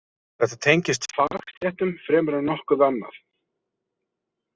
Þetta tengist fagstéttum fremur en nokkuð annað.